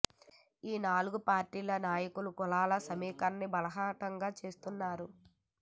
ఈ నాలుగు పార్టీల నాయకులు కులాల సమీకరణాన్ని బాహాటంగా చేస్తున్నారు